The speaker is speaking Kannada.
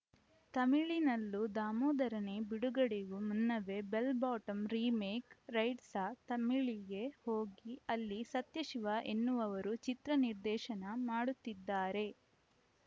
ತಮಿಳಿನಲ್ಲೂ ದಾಮೋದರನೇ ಬಿಡುಗಡೆಗೂ ಮುನ್ನವೇ ಬೆಲ್‌ ಬಾಟಂ ರೀಮೇಕ್‌ ರೈಟ್ಸ್‌ ತಮಿಳಿಗೆ ಹೋಗಿ ಅಲ್ಲಿ ಸತ್ಯಶಿವ ಎನ್ನುವವರು ಚಿತ್ರ ನಿರ್ದೇಶನ ಮಾಡುತ್ತಿದ್ದಾರೆ